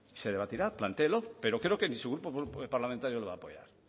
se debatirá plantéelo pero creo que ni su grupo parlamentario lo va a apoyar